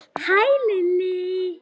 Hæ, Lilli!